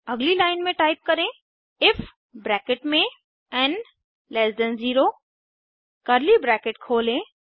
अगली लाइन में टाइप करें इफ एन 0 कर्ली ब्रैकेट खोलें